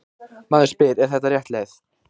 Maður spyr: Er þetta rétt leið?